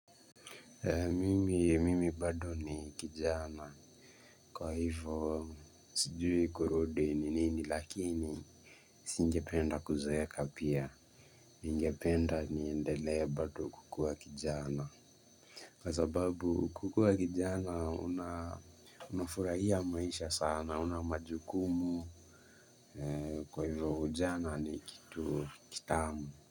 Mimi bado ni kijana. Kwa hivyo sijui kurudi ni nini lakini singependa kuzeeka pia ningependa niendelee bado kukua kijana. Kwa sababu kukua kijana una unafurahia maisha sana huna majukumu. Kwa hivyo ujana ni kitu kitamu.